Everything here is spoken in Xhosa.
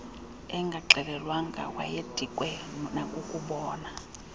engaxelelwanga wayedikwe nakukubona